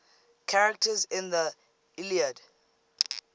characters in the iliad